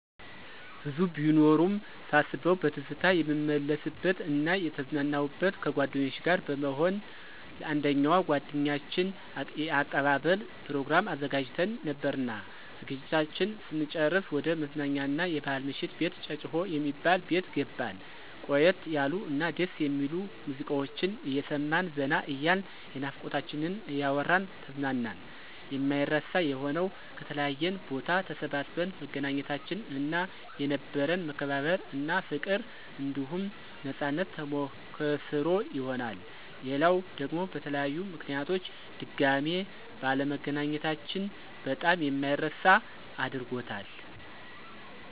ብዙ ቢኖሩም ሳስበዉ በትዝታ የምመለስበት እና የተዝናናሁበት፦ ከጓደኞቸ ጋር በመሆን ለአንደኛዋ ጓደኛችን የአቀባበል ፕሮግራም አዘጋጅተን ነበርና ዝግጅታችን ስንጨርስ ወደ መዝናኛ አና የባሕል ምሽት ቤት ጨጨሆ የሚባል ቤት ገባን። ቆየት ያሉ እና ደስ የሚሉ ሙዚቃወችን አየሰማን ዘና እያልን የናፍቆታችንን እያወራን ተዝናናን። የማይረሳ የሆነዉ፦ ከተለያየ ቦታ ተሰባስበን መገናኘታችን እና የነበረን መከባበር እና ፋቅር አንዲሁም ነፃነት ተሞከሰሮ ይሆናል። ሌላዉ ደግሞ በተለያዩ ምከንያቶች ድጋሜ ባለመገናኘታችን በጣም የማይረሳ አድርጎታል።